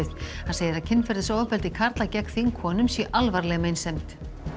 hann segir að kynferðisofbeldi karla gegn þingkonum sé alvarleg meinsemd